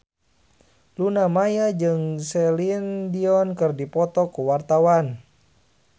Luna Maya jeung Celine Dion keur dipoto ku wartawan